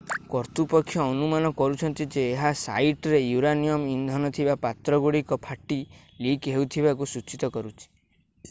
କର୍ତ୍ତୁପକ୍ଷ ଅନୁମାନ କରୁଛନ୍ତି ଯେ ଏହା ସାଇଟରେ ୟୁରାନିୟମ୍ ଇନ୍ଧନ ଥିବା ପାତ୍ରଗୁଡ଼ିକ ଫାଟି ଲିକ୍ ହେଉଥିବାକୁ ସୂଚିତ କରୁଛି